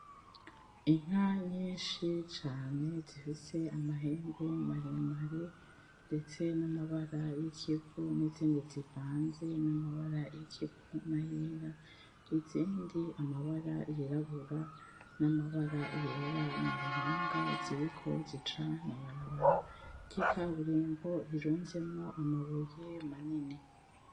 Inka nyishi cane zifise amahembe maremare, ndetse namabara y'ikivu nizindi zivanze n'amabara yikivu nayera, izindi amabara yirabura n'amaraba yera muruhanga ziriko zica mwibarabara ry'ikaburimbo rirunzemwo amabuye manini.